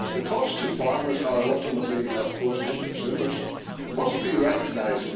The cost to farmers or ultimately, of course, to consumers must be recognised.